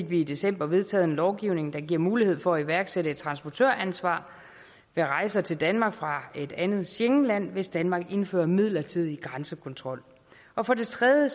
vi i december vedtaget en lovgivning der giver mulighed for at iværksætte et transportøransvar ved rejser til danmark fra et andet schengenland hvis danmark indfører midlertidig grænsekontrol og for det tredje